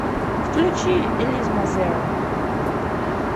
включи элизма зерон